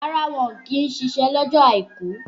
Rárá, wọ́n kì í ṣiṣẹ́ lọ́jọ́ àìkú.